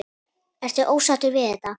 Ertu ósáttur við þetta?